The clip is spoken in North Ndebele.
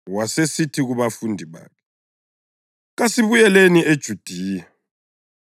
Wasesithi kubafundi bakhe, “Kasibuyeleni eJudiya.”